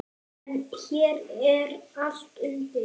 En hér er allt undir.